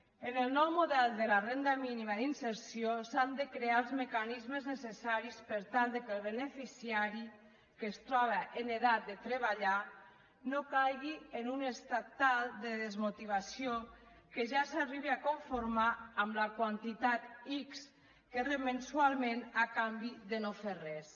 en el nou model de la renda mínima d’inserció s’han de crear els mecanismes necessaris per tal que el beneficiari que es troba en edat de treballar no caigui en un estat tal de desmotivació que ja s’arribi a conformar amb la quantitat ics que rep mensualment a canvi de no fer res